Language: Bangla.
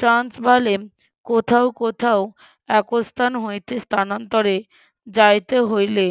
চার্লস ভারলেম কোথাও কোথাও একস্থান হইতে স্থানান্তরে যাইতে হইলে